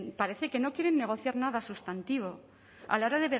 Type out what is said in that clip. parece que no quieren negociar nada sustantivo a la hora